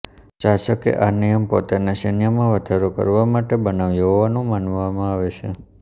શાસકે આ નિયમ પોતાનાં સૈન્યમાં વધારો કરવા માટે બનાવ્યો હોવાનું માનવામાં આવે છે